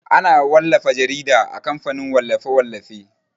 Ana wallafa jarida a kamfanin wallafe-wallafe.